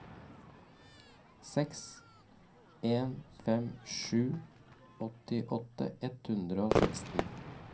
seks en fem sju åttiåtte ett hundre og seksten